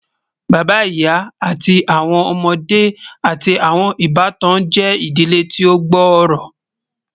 Bàbá, ìyà, àti awọn ọmọde, àti awọn ìbàtàn jẹ́ ìdílé tí o gbóòró